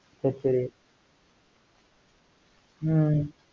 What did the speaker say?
ஹம்